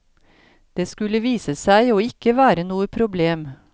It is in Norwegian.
Det skulle vise seg å ikke være noe problem.